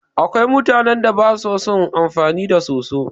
Akwai mutanan da basu son amfani da soso